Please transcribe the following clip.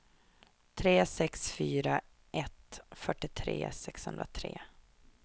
tre sex fyra ett fyrtiotre sexhundratre